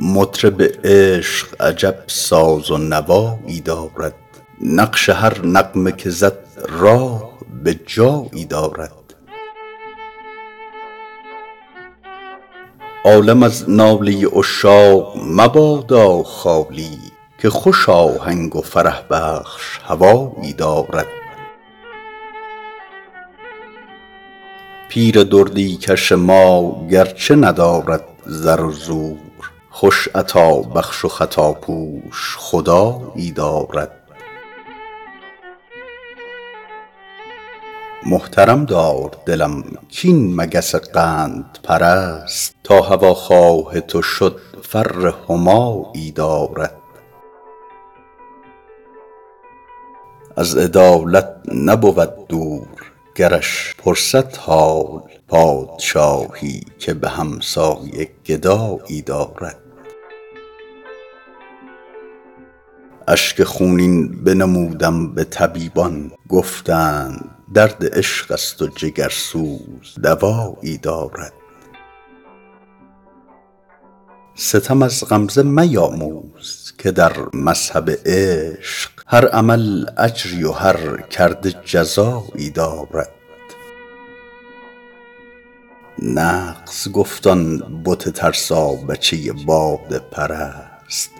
مطرب عشق عجب ساز و نوایی دارد نقش هر نغمه که زد راه به جایی دارد عالم از ناله عشاق مبادا خالی که خوش آهنگ و فرح بخش هوایی دارد پیر دردی کش ما گرچه ندارد زر و زور خوش عطابخش و خطاپوش خدایی دارد محترم دار دلم کاین مگس قندپرست تا هواخواه تو شد فر همایی دارد از عدالت نبود دور گرش پرسد حال پادشاهی که به همسایه گدایی دارد اشک خونین بنمودم به طبیبان گفتند درد عشق است و جگرسوز دوایی دارد ستم از غمزه میاموز که در مذهب عشق هر عمل اجری و هر کرده جزایی دارد نغز گفت آن بت ترسابچه باده پرست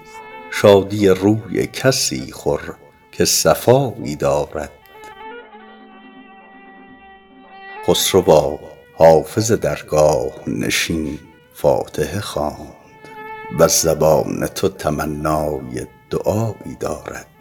شادی روی کسی خور که صفایی دارد خسروا حافظ درگاه نشین فاتحه خواند وز زبان تو تمنای دعایی دارد